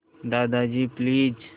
Dadaji please